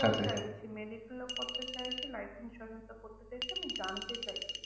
চাইছি medical ও করতে চাইছি। life insurance ও করতে চাইছি। আমি জানতে চাইছি,